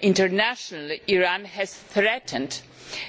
Internationally Iran has threatened